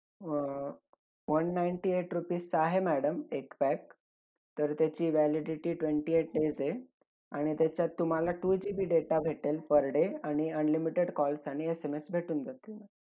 अं one ninety eight rupees चा आहे madam एक pack. तर त्याची validity twenty eight days आहेआणि त्याच्यात तुम्हाला two GB data भेटेल per day. आणि unlimited calls आणि SMS भेटून जातीन